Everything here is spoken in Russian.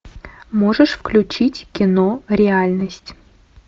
можешь включить кино реальность